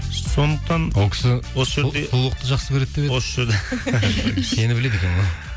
сондықтан ол кісі қулықты жақсы көреді деп еді осы жерде сені біледі екен ғой